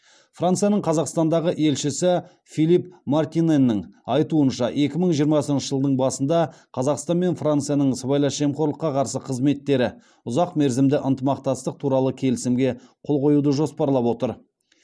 францияның қазақстандағы елшісі филипп мартинэнің айтуынша екі мың жиырмасыншы жылдың басында қазақстан мен францияның сыбайлас жемқорлыққа қарсы қызметтері ұзақмерзімді ынтымақтастық туралы келісімге қол қоюды жоспарлап отыр